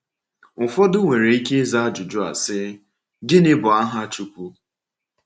Ụfọdụ nwere ike ịza ajụjụ a, sị: “Gịnị bụ aha Chukwu?”